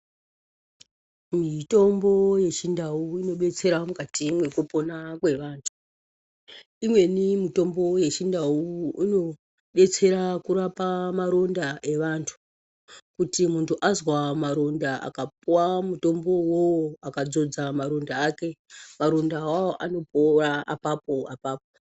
Mitombo yechindau inodetsera mukati mwekupona kwevantu. Imweni mitombo yechindau indetsera kurapa matonda evantu. Kuti muntu azwa maronda akapuwa mutombo uwowo akadzodza maronda ake, maronda awawo anopora apapo apapo.